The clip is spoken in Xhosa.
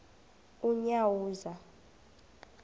unyawuza